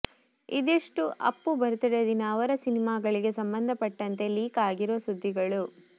ಇದಿಷ್ಟು ಅಪ್ಪು ಬರ್ತ್ಡೇ ದಿನ ಅವರ ಸಿನಿಮಾಗಳಿಗೆ ಸಂಬಂಧಪಟ್ಟಂತೆ ಲೀಕ್ ಆಗಿರುವ ಸುದ್ದಿಗಳು